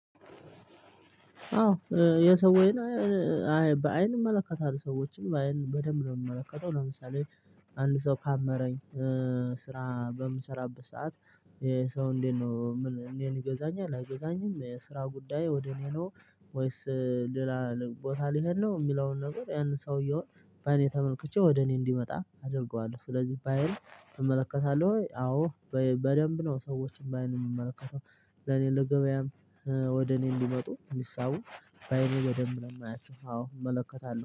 አዎ የሰውን በአይን እመለከታለሁ ሰዎችን በአይን በደንብ ነው የምመለከተው። ለምሳሌ አንድ ሰው ካመረኝ ስራ በምሰራበት ሰዓት ይሄ ሰው እንዴት ነው ምን እንዴት ይገዛኛል? አይገዛኝም። የስራ ጉዳይ ወደ እኔ ነው ወይስ ሌላ ቦታ ልሄድ ነው? የሚለውን ነገር ያንን ሰውየውን በእኔ ተመልክቼ ወደ እኔ እንዲመጣ አደርገዋለሁ። ስለዚህ ባይን ትመለከታለህ ወይ? አዎ። በደንብ ነው ሰዎችን ባይን የምመለከተው። ለኔ ለገበያም ወደ እኔ እንዲመጡ እንዲሳቡ በአይኔ በደንብ ነው ማያቸው። አዎ እመለከታለሁ